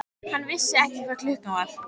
Hann vissi ekki hvað klukkan var.